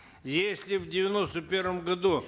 если в девяносто первом году